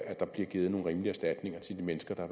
at der bliver givet nogle rimelige erstatninger til de mennesker der